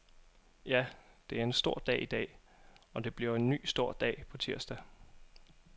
Ja, det er en stor dag i dag, og det bliver en ny stor dag på tirsdag.